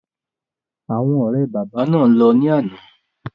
Àwọn ọ̀rẹ́ bàbá náà lọ ní àná.